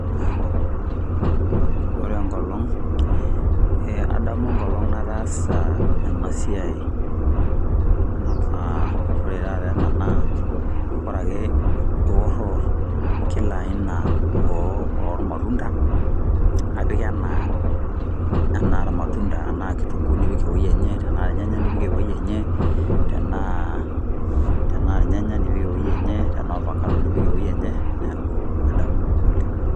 Ore enkolong' e adamu enkolong' nataasa enasiai ah, ore taata ena naa, ore ake iworwor kila aina ormatunda, apik enaa, enaa irnatunda, enaa kitunkuu nipik ewei enye, tenaa irnyanya nipik ewuei enye, tenaa, tenaa irnyanya nipik ewuei enye, tenaa orfakado nipik ewuei enye, neeku adamu oleng'.